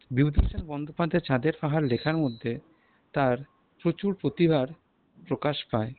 বিভূতিভূষণ বন্দ্যোপাধ্যায় চাঁদের পাহাড় লেখার মধ্যে তার প্রচুর প্রতিভার প্রকাশ পায়।